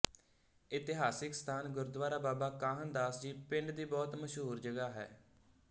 ਇਤਿਹਾਸਕ ਸਥਾਨ ਗੁਰਦੁਆਰਾ ਬਾਬਾ ਕਾਹਨ ਦਾਸ ਜੀ ਪਿੰਡ ਦੀ ਬਹੁਤ ਮਸ਼ਹੂਰ ਜਗ੍ਹਾ ਹੈ